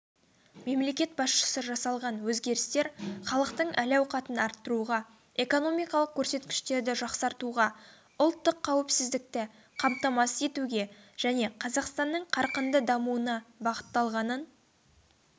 мемлекет басшысы жасалған өзгерістер халықтың әл-ауқатын арттыруға экономикалық көрсеткіштерді жақсартуға ұлттық қауіпсіздікті қамтамасыз етуге және қазақстанның қарқынды дамуына бағытталғанын